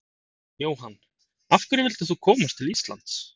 Jóhann: Af hverju vildir þú koma til Íslands?